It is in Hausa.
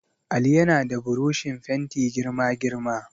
Ali yana da burushin fenti girma girma.